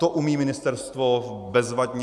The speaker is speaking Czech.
To umí ministerstvo bezvadně.